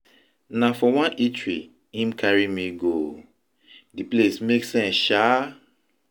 Na for one eatery im carry me go o, di place make sense shaa.